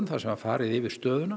þar sem var farið yfir stöðuna